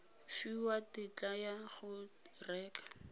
fiwa tetla ya go reka